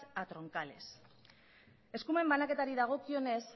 a troncales eskumen banaketari dagokionez